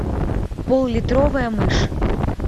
поллитровая мышь